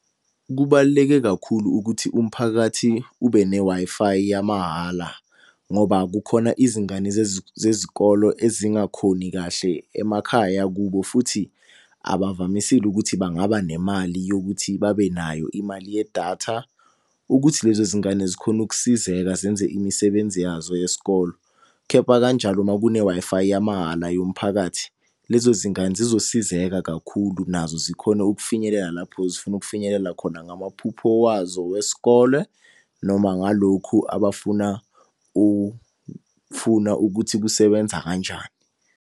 Kubaluleke kakhulu ukuthi umphakathi ube ne-Wi-Fi yamahhala. Ngoba kukhona izingane zezikolo ezingakhoni kahle emakhaya kubo futhi abavamisile ukuthi bangaba nemali yokuthi babe nayo imali yedatha. Ukuthi lezo zingane zikhone ukusizeka zenze imisebenzi yazo yesikolo. Kepha kanjalo uma kune-Wi-Fi yamahhala yomphakathi, lezo zingane zizosizeka kakhulu nazo zikhone ukufinyelela lapho zifuna ukufinyelela khona ngamaphupho wazo wesikole noma ngalokhu abafuna ukufuna ukuthi kusebenza kanjani.